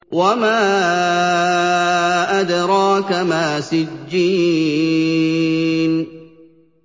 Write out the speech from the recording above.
وَمَا أَدْرَاكَ مَا سِجِّينٌ